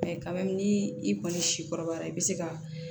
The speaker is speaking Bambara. kaba ni i kɔni si kɔrɔbayara i bɛ se ka